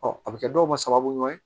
a bɛ kɛ dɔw ma sababu ɲuman ye